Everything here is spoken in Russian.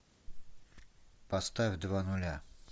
поставь два нуля